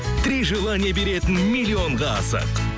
три желание беретін миллионға асық